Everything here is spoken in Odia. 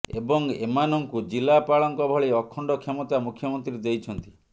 ଏବଂ ଏମାନଙ୍କୁ ଜିଲାପାଳଙ୍କ ଭଳି ଅଖଣ୍ଡ କ୍ଷମତା ମୁଖ୍ୟମନ୍ତ୍ରୀ ଦେଇଛନ୍ତି